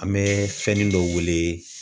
An bɛ fɛnnin dɔ wele